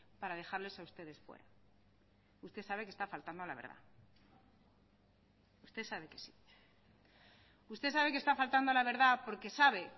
para dejarles a ustedes fuera usted sabe que está faltando a la verdad usted sabe que sí usted sabe que está faltando a la verdad porque sabe